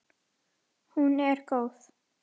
Hún er góð.